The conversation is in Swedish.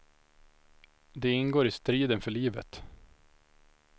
Det ingår i striden för livet.